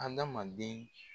Andamanden